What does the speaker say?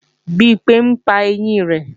Bimpé ńpa ẹyín rẹ̀